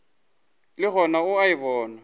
le gona o a bona